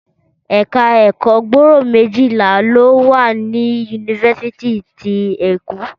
Ẹ̀ka ẹ̀kọ́ gbòòrò méjìlá lọ wà ní yunifásítì ti Eko